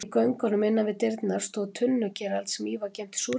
Í göngunum innan við dyrnar stóð tunnukerald sem í var geymt súrmeti.